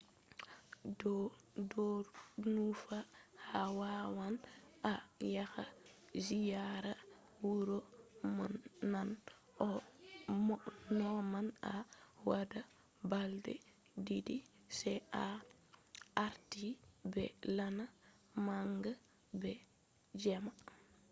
ɗon ɗonufa a wawan a yaha ziyara wuro naane no man a waɗa balɗe ɗiɗi sai a warta be laana manga be jemma